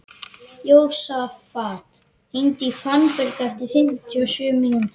Jósafat, hringdu í Fannberg eftir fimmtíu og sjö mínútur.